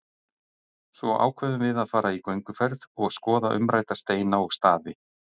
Svo ákveðum við að fara í gönguferð og skoða umrædda steina og staði.